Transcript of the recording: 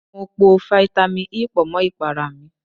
Mo po fáítámì E pọ̀ mọ́ ìpara mi.